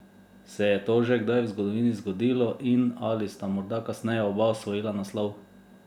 Se je to že kdaj v zgodovini zgodilo in ali sta morda kasneje oba osvojila naslov?